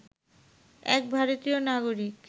এক ভারতীয় নাগরিক